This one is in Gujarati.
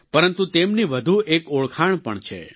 પરંતુ તેમની વધુ એક ઓળખાણ પણ છે